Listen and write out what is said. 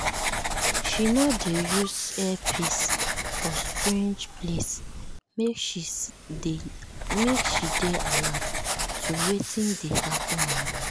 she no dey use earphone for strange place make she dey alert to wetin dey happen around.